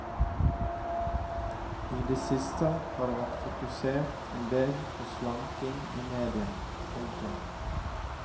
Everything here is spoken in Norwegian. I det siste har det vært fokusert en del på slanking i media. punktum